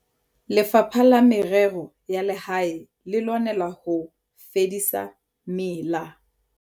Lefapha la Merero ya Lehae le lwanela ho fedisa mela.